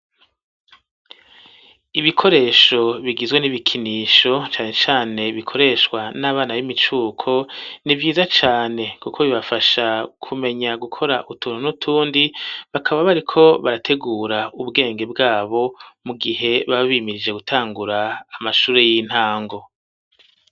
Ibikoresho bigizwe n'ibikinisho, cane cane bikoreshwa n'abana b'imicuko ,nivyiza cane kuko bibafasha kumenya gukora utuntu nutundi, bakaba bariko barategura ubwenge bwabo mu gihe baba bimirije gutangura ,amashuri y'intango.